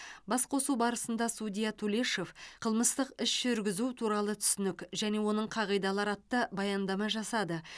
басқосу барысында судья тулешов қылмыстық іс жүргізу туралы түсінік және оның қағидалары атты баяндама жасады